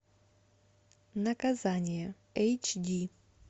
наказание эйч ди